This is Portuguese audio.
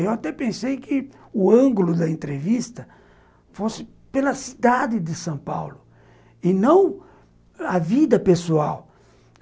Eu até pensei que o ângulo da entrevista fosse pela cidade de São Paulo e não a vida pessoal.